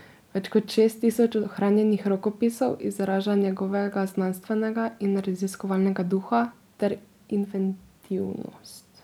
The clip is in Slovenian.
Več kot šest tisoč ohranjenih rokopisov izraža njegovega znanstvenega in raziskovalnega duha ter inventivnost.